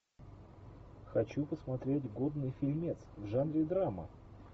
хочу посмотреть годный фильмец в жанре драма